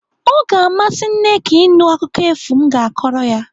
O ga-amasị Nneka ịnụ akụkọ efu m ga-akọrọ ya.